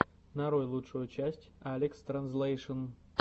нарой лучшую часть алекстранзлэйшн